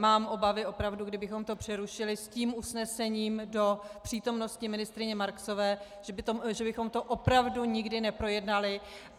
Mám obavy opravdu, kdybychom to přerušili s tím usnesením do přítomnosti ministryně Marksové, že bychom to opravdu nikdy neprojednali.